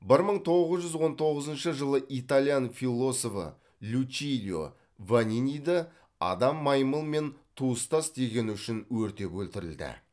бір мың тоғыз жүз он тоғызыншы жылы италиян философы лючилио ваниниді адам маймыл мен туыстас дегені үшін өртеп өлтірілді